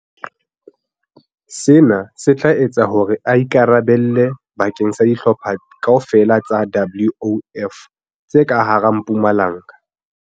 Sena se tla etsa hore a ikara belle bakeng sa dihlopha kaofela tsa WOF tse ka hara Mpumalanga.